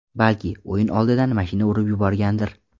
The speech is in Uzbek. Balki, o‘yin oldidan mashina urib yuborgandir?